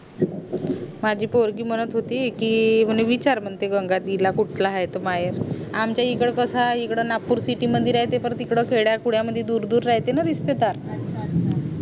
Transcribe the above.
माझी पोरगी म्हणत होती कि विचार म्हणे गंगा दीदी ला कुठला आहे तो महेर आमच्या इकडे कसं इकडे नाकपुर city मध्ये राहते पण तिकडे खेड्या खुड्या मध्ये दूर दूर राहते ना